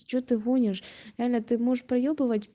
что ты гонишь реально ты можешь поёбывать